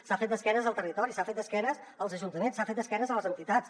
s’ha fet d’esquena al territori s’ha fet d’esquena als ajuntaments s’ha fet d’esquena a les entitats